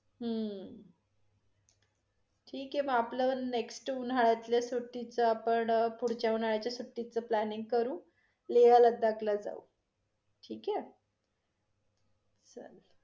हम्म ठिक आहे मग आपलं next उन्हाळ्यातल्या सुट्टीचा, आपण पुढच्या उन्हाळ्याच्या सुट्टीच planning करू लेह लडाख ला जाऊ ठीक आहे? चालेल.